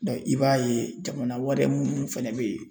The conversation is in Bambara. i b'a ye jamana wɛrɛ minnu fɛnɛ bɛ yen